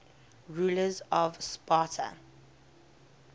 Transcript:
rulers of sparta